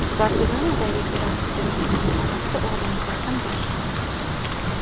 Barselonadagi terakt ijrochisining onasi o‘g‘lini taslim bo‘lishga chaqirdi.